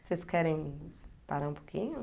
Vocês querem parar um pouquinho?